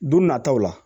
Don nataw la